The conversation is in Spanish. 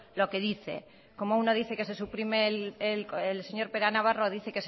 lo que dice como uno dice que se suprime el señor pera navarro dice